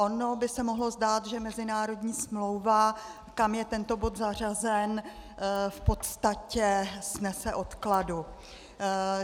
Ono by se mohlo zdát, že mezinárodní smlouva, kam je tento bod zařazen, v podstatě snese odkladu.